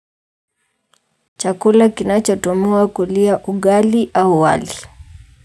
Chakula kinachatumiwa kulia ugali au wali.